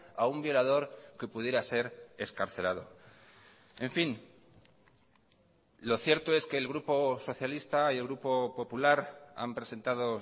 a un violador que pudiera ser excarcelado en fin lo cierto es que el grupo socialista y el grupo popular han presentado